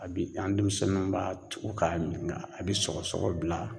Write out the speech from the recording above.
A bi an demisɛnnunw b'a tugu k'a min ŋa bi sɔgɔsɔgɔ bila